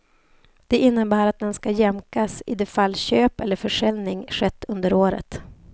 Det innebär att den ska jämkas i de fall köp eller försäljning skett under året.